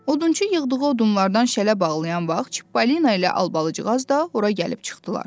Odunçu yığdığı odunlardan şələ bağlayan vaxt Çippolina ilə Albalıcığaz da ora gəlib çıxdılar.